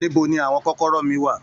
Níbo ní àwọn kọ́kọ́rọ́ mí wá?